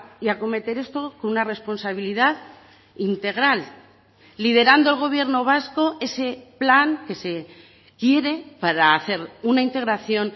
y acometer esto con una responsabilidad integral liderando el gobierno vasco ese plan que se quiere para hacer una integración